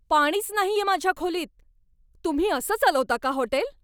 पाणीच नाहीये माझ्या खोलीत! तुम्ही असं चालवता का हॉटेल?